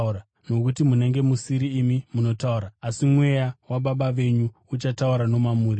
nokuti munenge musiri imi munotaura, asi Mweya waBaba venyu uchataura nomamuri.